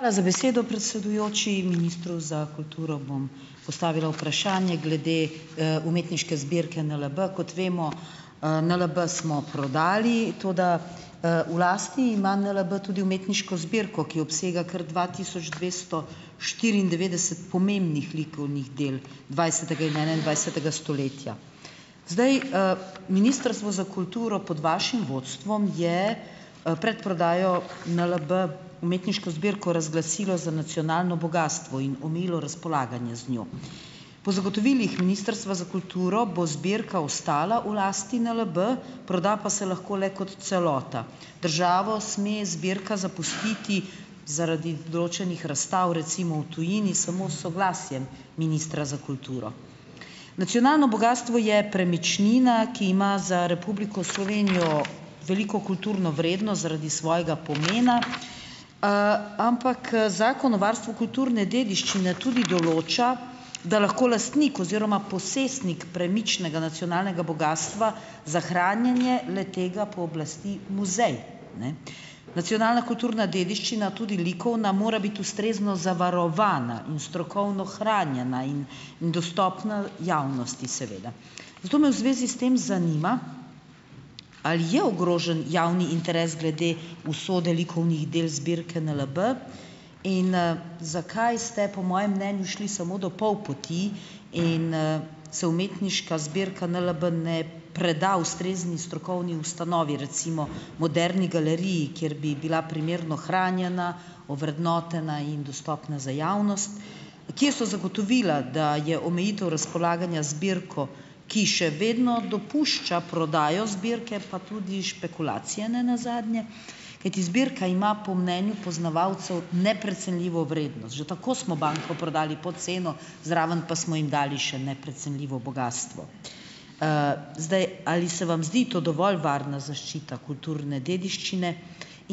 Hvala za besedo, predsedujoči. Ministru za kulturo bom postavila vprašanje glede, umetniške zbirke NLB. Kot vemo, NLB smo prodali, toda, v lasti ima NLB tudi umetniško zbirko, ki obsega kar dva tisoč dvesto štiriindevetdeset pomembnih likovnih del dvajsetega in enaindvajsetega stoletja. Zdaj, Ministrstvo za kulturo pod vašim vodstvom je, pred prodajo NLB umetniško zbirko razglasilo za nacionalno bogastvo in omejilo razpolaganje z njo. Po zagotovilih Ministrstva za kulturo bo zbirka ostala v lasti NLB, proda pa se lahko le kot celota. Državo sme zbirka zapustiti zaradi določenih razstav, recimo v tujini samo s soglasjem ministra za kulturo. Nacionalno bogastvo je premičnina, ki ima za Republiko Slovenijo veliko kulturno vrednost zaradi svojega pomena, ampak, Zakon o varstvu kulturne dediščine tudi določa, da lahko lastnik oziroma posestnik premičnega nacionalnega bogastva za hranjenje le-tega pooblasti muzej. Ne. Nacionalna kulturna dediščina, tudi likovna, mora biti ustrezno zavarovana in strokovno hranjena in in dostopna javnosti seveda. Zato me v zvezi s tem zanima, ali je ogrožen javni interes glede usode likovnih del zbirke NLB in, zakaj ste po mojem mnenju šli samo do pol poti in, se umetniška zbirka NLB ne preda ustrezni strokovni ustanovi, recimo Moderni galeriji, kjer bi bila primerno hranjena, ovrednotena in dostopna za javnost. Kje so zagotovila, da je omejitev razpolaganja z zbirko, ki še vedno dopušča prodajo zbirke, pa tudi špekulacije ne nazadnje, kajti zbirka ima po mnenju poznavalcev neprecenljivo vrednost. Že tako smo banko prodali pod ceno, zraven pa smo jim dali še neprecenljivo bogastvo. Zdaj, ali se vam zdi to dovolj varna zaščita kulturne dediščine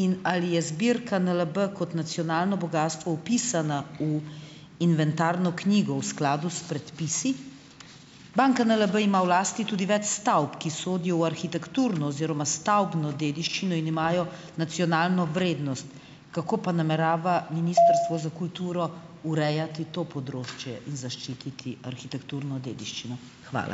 in ali je zbirka NLB kot nacionalno bogastvo vpisana u inventarno knjigo v skladu s predpisi. Banka NLB ima v lasti tudi več stavb, ki sodijo v arhitekturno oziroma stavbno dediščino in imajo nacionalno vrednost. Kako pa namerava Ministrstvo za kulturo urejati to področje in zaščititi arhitekturno dediščino? Hvala.